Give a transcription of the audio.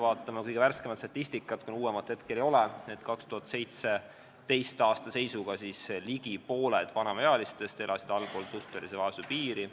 Vaatame kõige värskemat statistikat : 2017. aasta seisuga elasid ligi pooled vanemaealistest allpool suhtelise vaesuse piiri.